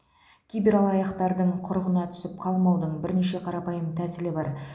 кибералаяқтардың құрығына түсіп қалмаудың бірінші қарапайым тәсілі бар